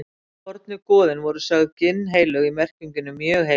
fornu goðin voru sögð ginnheilög í merkingunni mjög heilög